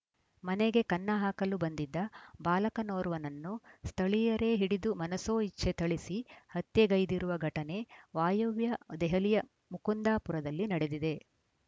ಮನೆಗೆ ಕನ್ನ ಹಾಕಲು ಬಂದಿದ್ದ ಬಾಲಕನೋರ್ವನನ್ನು ಸ್ಥಳೀಯರೇ ಹಿಡಿದು ಮನಸೋ ಇಚ್ಛೆ ಥಳಿಸಿ ಹತ್ಯೆಗೈದಿರುವ ಘಟನೆ ವಾಯುವ್ಯ ದೆಹಲಿಯ ಮುಕುಂದಾಪುರದಲ್ಲಿ ನಡೆದಿದೆ